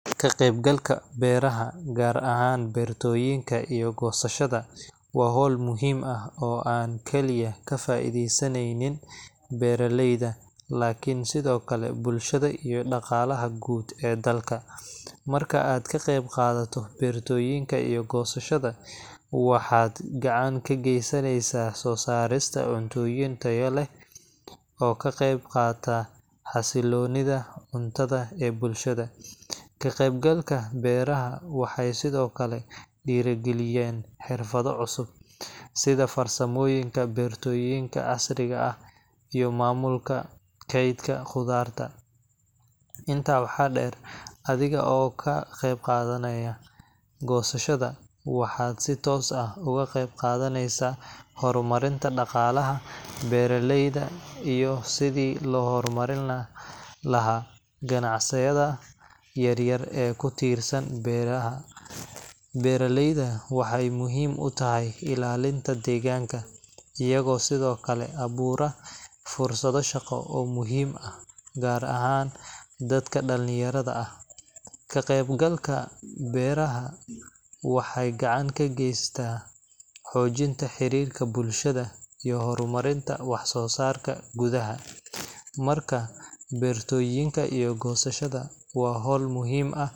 Ka qaybgalka beeraha, gaar ahaan beertooyinka iyo goosashada, waa hawl muhiim ah oo aan kaliya ka faa'iideysanaynin beeraleyda, laakiin sidoo kale bulshada iyo dhaqaalaha guud ee dalka. Marka aad ka qaybqaadato beertooyinka iyo goosashada, waxaad gacan ka geysaneysaa soo saarista cuntooyin tayo leh oo ka qaybqaata xasiloonida cuntada ee bulshada. Ka qaybgalka beeraha waxay sidoo kale dhiirigelinaysaa xirfado cusub, sida farsamooyinka beertooyinka casriga ah iyo maamulka kaydka khudaarta. Intaa waxaa dheer, adiga oo ka qaybqaadanaya goosashada, waxaad si toos ah uga qeybqaadaneysaa horumarinta dhaqaalaha beeraleyda iyo sidii loo horumarin lahaa ganacsiyada yaryar ee ku tiirsan beeraha. Beeraleydu waxay muhiim u tahay ilaalinta deegaanka, iyagoo sidoo kale abuura fursado shaqo oo muhiim ah, gaar ahaan dadka dhallinyarada ah. Ka qaybgalka beerta waxay gacan ka geystaa xoojinta xiriirka bulshada iyo horumarinta wax-soo-saarka gudaha. Marka, beertooyinka iyo goosashada waa hawl muhiim ah.